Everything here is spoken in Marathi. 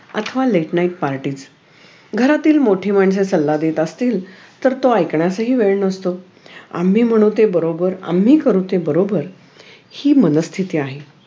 अथवा late night parties घरातील मोठी माणसे जर सल्ला देत असतील तर तो ऐकण्यासही वेळ नसतो आम्ही म्हणू ते बरोबर या, हि करू ते बरोबर हि मनःस्थिती आहे